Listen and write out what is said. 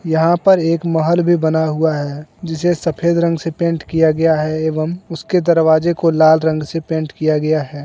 यहां पर एक महल भी बना हुआ है जिसे सफेद रंग से पेंट किया गया है एवम उसके दरवाजे को लाल रंग से पेंट किया गया है।